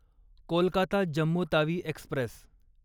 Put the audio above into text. Kolkata Jammu Tawi Express